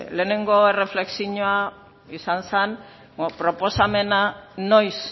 lehenengo erreflexioa izan zen proposamena noiz